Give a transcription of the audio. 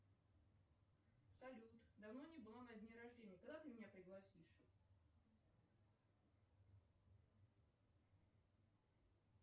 салют давно не была на дне рождения когда ты меня пригласишь